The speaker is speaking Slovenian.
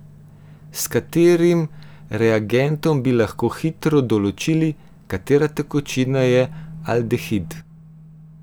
S katerim reagentom bi lahko hitro določili, katera tekočina je aldehid?